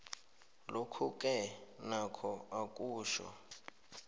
lokhuke nokho akutjho